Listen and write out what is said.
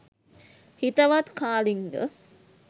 හිතවත් කාලිංග